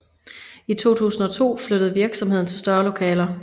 I 2002 flyttede virksomheden til større lokaler